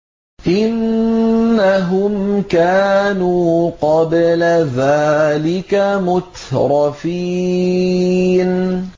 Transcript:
إِنَّهُمْ كَانُوا قَبْلَ ذَٰلِكَ مُتْرَفِينَ